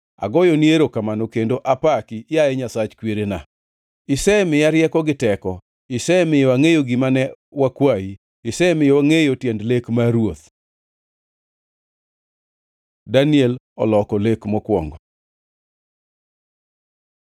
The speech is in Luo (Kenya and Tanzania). Agoyoni erokamano, kendo apaki, yaye Nyasach kwerena: Isemiya rieko gi teko, isemiyo angʼeyo gima ne wakwayi, isemiyo wangʼeyo tiend lek mar ruoth. Daniel oloko lek mokwongo